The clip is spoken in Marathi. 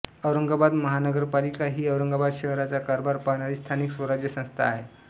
औरंगाबाद महानगरपालिका ही औरंगाबाद शहराचा कारभार पाहणारी स्थानिक स्वराज्य संस्था आहे